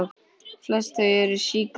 Flest eru þau sígræn.